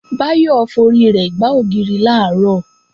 Báyọ̀ forí rẹ̀ gbá ògiri làárọ̀